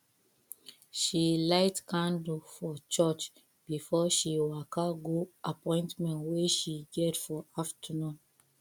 she light candle for church before she waka go appointment wey she get for afternoon